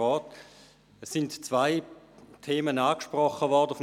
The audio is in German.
Löffel sind zwei Themen angesprochen worden.